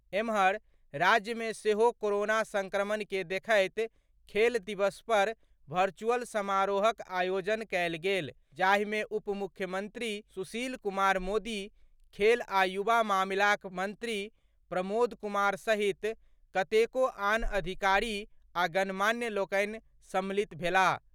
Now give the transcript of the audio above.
एम्हर, राज्य मे सेहो कोरोना संक्रमण के देखैत खेल दिवस पर वर्चुअल समारोहक आयोजन कएल गेल जाहि मे उप मुख्यमंत्री सुशील कुमार मोदी, खेल आ युवा मामिलाक मंत्री प्रमोद कुमार सहित कतेको आन अधिकारी आ गणमान्य लोकनि सम्मिलित भेलाह।